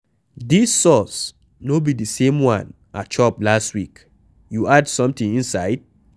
Dis sauce no be the same one I chop last week, You add something inside?